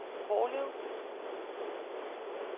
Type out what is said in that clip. Hårlev